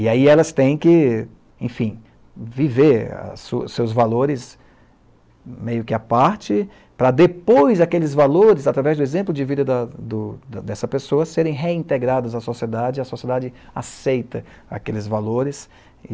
E aí elas têm que, enfim, viver a sua seus valores meio que à parte, para depois aqueles valores, através do exemplo de vida da do dessa pessoa, serem reintegrados à sociedade e a sociedade aceita aqueles valores.